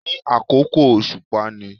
Ní àkókò òsùpá ni